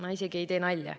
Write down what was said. Ma isegi ei tee nalja.